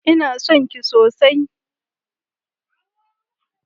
Ina son ki sosai